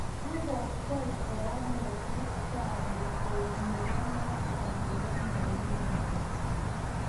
Akokwei kora moses chali koek nebo masta ab Nanyumbu.